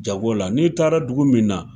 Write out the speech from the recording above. Jago la n'i taara dugu min na.